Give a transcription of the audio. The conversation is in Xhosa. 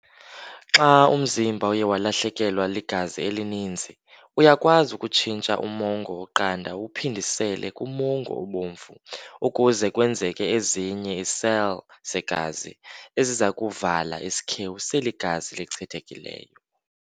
Xa umzimba uye walahlekelwa ligazi elininzi, uyakwazi ukutshintsha umongo oqanda uwuphindisele kumongo obomvu ukuze kwenzeke ezinye ii-cell zegazi ezizakuvala isikhewu seli gazi lichithekileyo.